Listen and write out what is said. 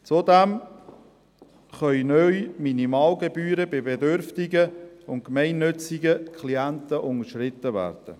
Zudem können die Minimalgebühren neu bei bedürftigen und gemeinnützigen Klienten unterschritten werden.